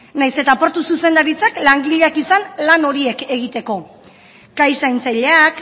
nahiz eta portu zuzendaritzak langileak izan lan horiek egiteko kai zaintzaileak